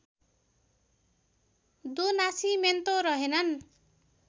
दो नासिमेन्तो रहेनन्